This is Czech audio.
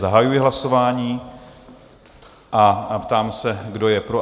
Zahajuji hlasování a ptám se, kdo je pro?